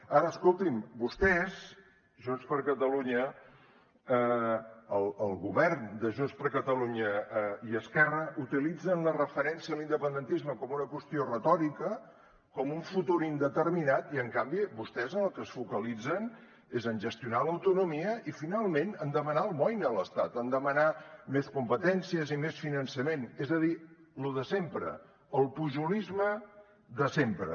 ara escolti’m vostès junts per catalunya el govern de junts per catalunya i esquerra utilitzen la referència a l’independentisme com una qüestió retòrica com un futur indeterminat i en canvi vostès en el que es focalitzen és en gestionar l’autonomia i finalment en demanar almoina a l’estat en demanar més competències i més finançament és a dir lo de sempre el pujolisme de sempre